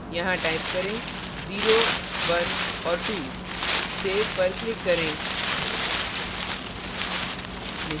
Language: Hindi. यहां type करें 01 और 2 save पर click करें